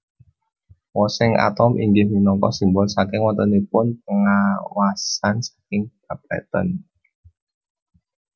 Wosing atom inggih minangka simbol saking wontenipun pengawasn saking Bapeten